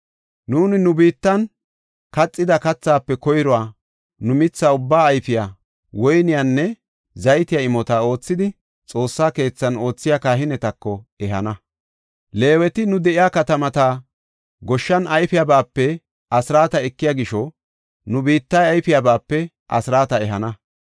“Nuuni nu biittan kaxida kathaafe koyruwa, nu mitha ubbaa ayfiya, woyniyanne zaytiya imota oothidi, Xoossa keethan oothiya kahinetako ehana. Leeweti nu de7iya katamata goshshan ayfiyabape asraata ekiya gisho, nu biittay ayfiyabape asraata ehana.